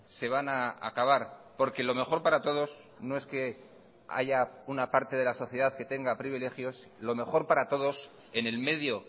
se van a acabar porque lo mejor para todos no es que haya una parte de la sociedad que tenga privilegios lo mejor para todos en el medio